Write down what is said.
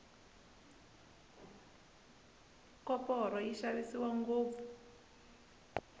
koporo yi xavisiwa ngopfu